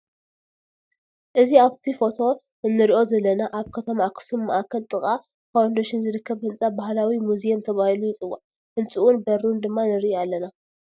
ኣዚ ኣብ ፎቶ እንሪኦ ዘለና ኣብ ክተማ ኣክሱም ማእክል ጥቃ ፋውንደሽን ዝርክብ ሕንፃ ባህላዊ ሙዝይም ተባሂሉ ይፅዋዕ ህንፅኡን በሩን ድማ ንርኢ ኣለና ።